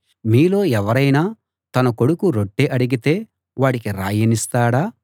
మీలో ఎవరైనా తన కొడుకు రొట్టె అడిగితే వాడికి రాయినిస్తాడా